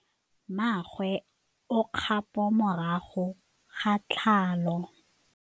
Mmagwe o kgapô morago ga tlhalô.